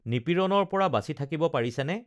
নিপীড়ণৰপৰা বাচি থাকিব পাৰিছেনে